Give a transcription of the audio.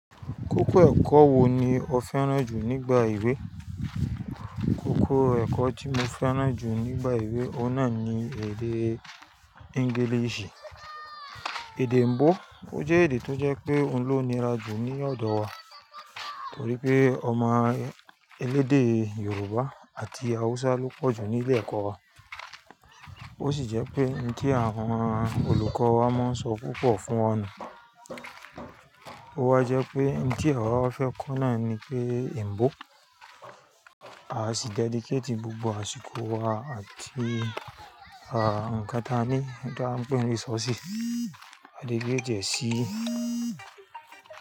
Kókó ẹ̀kọ́ wo ni o fẹ́ràn jù nígbà ìwé? Kókó ẹ̀kọ́ tí mo fẹ́ràn jù nígbà ìwé, ó náà ni èdè English. Èdè òyìnbó. Ó jẹ́ èdè tó jẹ́ pé òun ló nira jù ní ọ̀dọ̀ wa. Torí pé ọmọ elédè Yoruba àti Hausa ló pọ̀jù ní ilé ẹ̀kọ́ wa. Ó sì jẹ́ pé ohun tí àwọn olùkọ́ wa máa ń sọ púpọ̀ fún wọn nu. Ó wa jẹ́ pé ohun tí àwa wa fẹ́ kọ́ náà ni pé Òyìnbó. A sì dedicate gbogbo àsìkò wa àti, à, ǹkan taní, bí a ń pé ni resources. A dégrée diẹ́ sí.